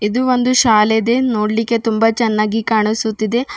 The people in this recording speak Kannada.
ಇದು ಒಂದು ಶಾಲೆದೆ ನೋಡ್ಲಿಕೆ ತುಂಬ ಚನ್ನಾಗಿ ಕಾಣಿಸುತ್ತಿದೆ.